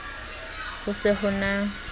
ho se ho se na